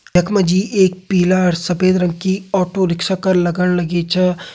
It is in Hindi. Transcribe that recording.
यख मा जी एक पीला अर सफ़ेद रंग कि ऑटो रिक्शा कर लगण लगीं च।